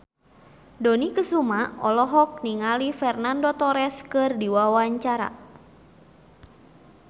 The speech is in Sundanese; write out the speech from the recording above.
Dony Kesuma olohok ningali Fernando Torres keur diwawancara